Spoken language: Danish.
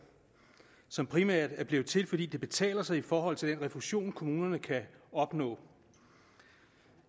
som primært er blevet til fordi det betaler sig i forhold til den refusion kommunerne kan opnå